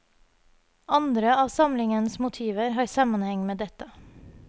Andre av samlingens motiver har sammenheng med dette.